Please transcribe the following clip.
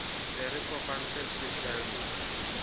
se re kopantse se fella